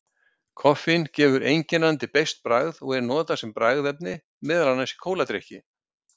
Koffín gefur einkennandi beiskt bragð og er notað sem bragðefni meðal annars í kóladrykki.